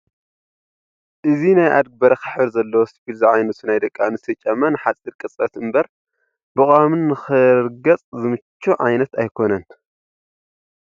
እዚ ናይ ዓድጊ በረኻ ሕብሪ ዘለዎ ስፒል ዝዓይነቱ ናይ ደቂ ኣንስትዮ ጫማ ንሓፂር ቅፅበት እምበር ብቀዋሚ ንክርገፅ ዝምቹ ዓይነት ኣይኮነን፡፡